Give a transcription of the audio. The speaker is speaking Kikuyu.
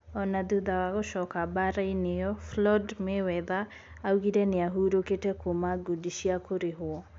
Ona thutha wa gũcoka mbara-inĩ iyo Floyd Mayweather augire niahurũkĩte kuuma ngundi cia kũrihwo.